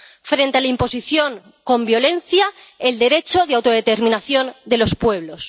Frente a la imposición con violencia el derecho de autodeterminación de los pueblos.